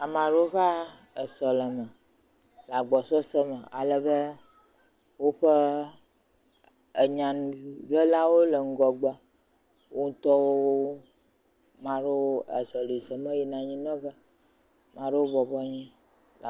Ame aɖewo va esɔlɔme le agbɔsɔsɔ me alebe woƒe enyanuɖelawo le ŋgɔgbe, wo ŋutɔwo mea ɖewo azɔli zɔm yina anyi nɔ ge. Ame ɖewo bɔbɔ nɔ anyi.